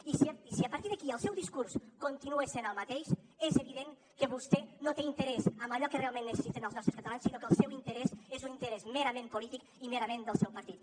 i si a partir d’aquí el seu discurs continua sent el mateix és evident que vostè no té interès en allò que realment necessiten els nostres catalans sinó que el seu interès és un interès merament polític i merament del seu partit